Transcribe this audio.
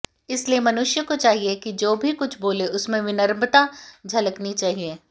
इसलिए मनुष्य को चाहिए कि जो भी कुछ बोले उसमें विनम्रता झलकनी चाहिए